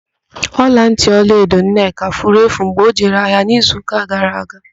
Ọlantị ọlaedo Nneka furu mgbe ọ jere ahịa n'izuụ́kà gara aga.